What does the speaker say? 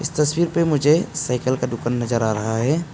तस्वीर पे मुझे साइकिल का दुकान नजर आ रहा है।